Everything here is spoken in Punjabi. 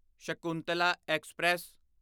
ਸ਼ਕੁੰਤਲਾ ਐਕਸਪ੍ਰੈਸ